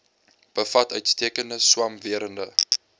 bevat uitstekende swamwerende